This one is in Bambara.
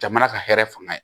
Jamana ka hɛrɛ fanga ye